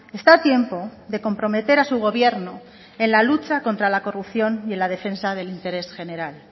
está a tiempo de comprometer a su gobierno en la lucha contra la corrupción y en la defensa del interés general